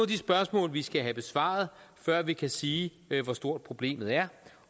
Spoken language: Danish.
de spørgsmål vi skal have besvaret før vi kan sige hvor stort problemet er